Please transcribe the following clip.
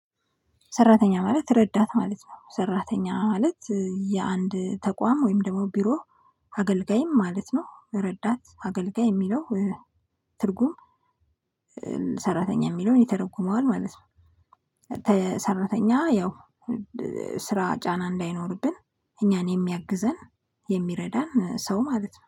ሰራተኛ ማለት ረዳት ማለት ነው። ሰራተኛ ማለት የአንድ ተቋም ወይም ደግሞ ቢሮ አገልጋይም ማለት ነው። ረዳት አገልጋይ የሚለው ትርጉም ሰራተኛ የሚለውን ይተረጉመዋል ማለት ነው። ሰራተኛ ያው ስራ ጫና እንዳይኖርብን እኛን የሚያግዘን የሚረዳን ሰው ማለት ነው።